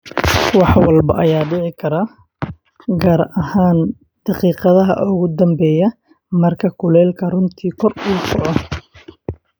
"Wax walba ayaa dhici kara, gaar ahaan daqiiqadaha ugu dambeeya marka kulaylku runtii kor u kaco."